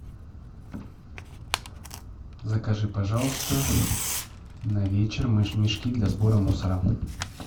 закажи пожалуйста на вечер мешки для сбора мусора